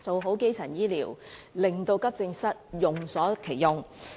做好基層醫療，令急症室用得其所。